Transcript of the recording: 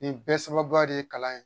Nin bɛɛ sababu de ye kalan ye